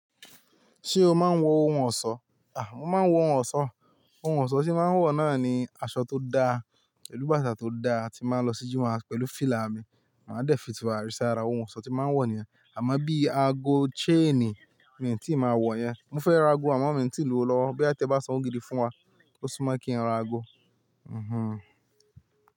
Ṣé o máa ń wọ òhún ọ̀ṣọ́? À mó máa ń wọ òhún ọ̀ṣọ́. Òhún ọ̀ṣọ́ tí mó máa ń wọ̀ náà ní aṣọ tó da, pèlù báàtà tó da tí bàá ń lọ sí jímọ̀ pẹ̀lú fílà mí. Màá dẹ́ fí turárì sí àrá òhún ọ̀ṣọ́ tí màá ń wọ̀ níyén. Àmọ́ bí ágó, chain, mó tí máa wọ̀ yẹn. Mó fẹ́ rá àgò àmọ́ mó tí lówò lọ́wọ́. Bóyá tí ẹ bá sàn owò gídí fún wá, ó sú mó kí n rá àgó. Hmm hmm.